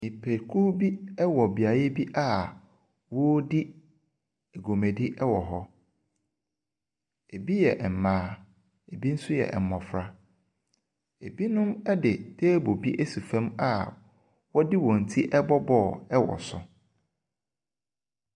Nnipakuw bi wɔ beae bi a wɔredi dwumadi wɔ hɔ. Ɛbi yɛ mmaa, binom nso yɛ mmɔfra. Binom de table asi fam a wɔde wɔn ti bɔ bɔɔlo wɔ so.